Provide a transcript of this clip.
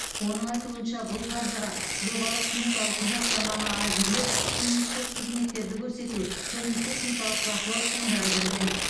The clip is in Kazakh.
оның айтуынша бұл қаржыға жобалық сметалық құжаттаманы әзірлеу кеңесшілік қызметтерді көрсету және техникалық бақылау шығындары кірген